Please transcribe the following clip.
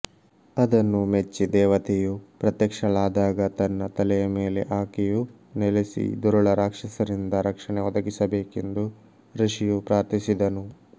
ಅದನ್ನು ಮೆಚ್ಚಿ ದೇವತೆಯು ಪ್ರತ್ಯಕ್ಷಳಾದಾಗ ತನ್ನ ತಲೆಯ ಮೇಲೆ ಆಕೆಯು ನೆಲೆಸಿ ದುರುಳ ರಾಕ್ಷಸರಿಂದ ರಕ್ಷಣೆ ಒದಗಿಸಬೇಕೆಂದು ಋಷಿಯು ಪ್ರಾರ್ಥಿಸಿದನು